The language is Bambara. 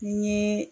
N ye